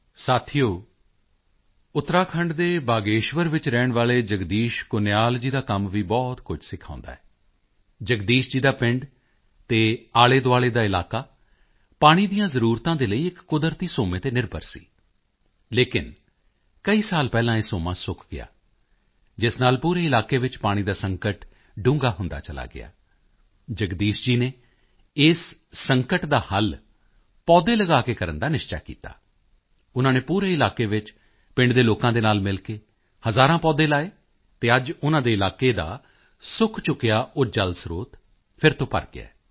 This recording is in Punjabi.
ਸਾਥੀਓ ਉੱਤਰਾਖੰਡ ਦੇ ਬਾਗੇਸ਼ਵਰ ਵਿੱਚ ਰਹਿਣ ਵਾਲੇ ਜਗਦੀਸ਼ ਕੁਨਿਆਲ ਜੀ ਦਾ ਕੰਮ ਵੀ ਬਹੁਤ ਕੁਝ ਸਿਖਾਉਂਦਾ ਹੈ ਜਗਦੀਸ਼ ਜੀ ਦਾ ਪਿੰਡ ਅਤੇ ਆਲੇਦੁਆਲੇ ਦਾ ਇਲਾਕਾ ਪਾਣੀ ਦੀਆਂ ਜ਼ਰੂਰਤਾਂ ਦੇ ਲਈ ਇੱਕ ਕੁਦਰਤੀ ਸੋਮੇ ਤੇ ਨਿਰਭਰ ਸੀ ਲੇਕਿਨ ਕਈ ਸਾਲ ਪਹਿਲਾਂ ਇਹ ਸੋਮਾ ਸੁੱਕ ਗਿਆ ਜਿਸ ਨਾਲ ਪੂਰੇ ਇਲਾਕੇ ਵਿੱਚ ਪਾਣੀ ਦਾ ਸੰਕਟ ਡੂੰਘਾ ਹੁੰਦਾ ਚਲਾ ਗਿਆ ਜਗਦੀਸ਼ ਜੀ ਨੇ ਇਸ ਸੰਕਟ ਦਾ ਹੱਲ ਪੌਦੇ ਲਗਾ ਕੇ ਕਰਨ ਦਾ ਨਿਸ਼ਚਾ ਕੀਤਾ ਉਨ੍ਹਾਂ ਨੇ ਪੂਰੇ ਇਲਾਕੇ ਵਿੱਚ ਪਿੰਡ ਦੇ ਲੋਕਾਂ ਦੇ ਨਾਲ ਮਿਲ ਕੇ ਹਜ਼ਾਰਾਂ ਪੌਦੇ ਲਗਾਏ ਅਤੇ ਅੱਜ ਉਨ੍ਹਾਂ ਦੇ ਇਲਾਕੇ ਦਾ ਸੁੱਕ ਚੁੱਕਿਆ ਉਹ ਜਲ ਸਰੋਤ ਫਿਰ ਤੋਂ ਭਰ ਗਿਆ ਹੈ